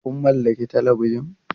Kun mallaki Talabijan?